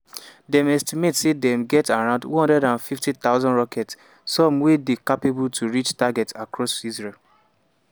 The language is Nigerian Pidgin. dem estimate say dem get around 150000 rockets some wey dey capable to reach targets across israel.